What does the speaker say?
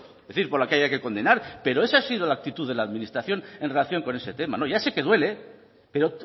por lo que haya que condenar pero esa ha sido la actitud de la administración en relación con ese tema ya sé que duele pero